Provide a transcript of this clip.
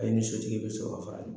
E ni sotigi bɛ sɔrɔ k'a .